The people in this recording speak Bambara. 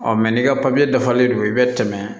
n'i ka papiye dafalen don i bɛ tɛmɛ